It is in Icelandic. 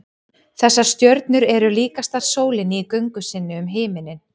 þessar stjörnur eru líkastar sólinni í göngu sinni um himininn